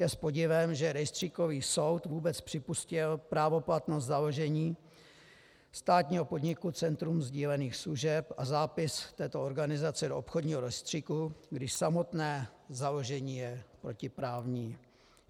Je s podivem, že rejstříkový soud vůbec připustil právoplatnost založení státního podniku Centrum sdílených služeb a zápis této organizace do obchodního rejstříku, když samotné založení je protiprávní.